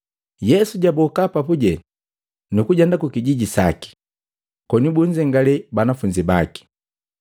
Yesu jaboka papuje nukujenda kukijiji saki, koni bunzengalee banafunzi baki.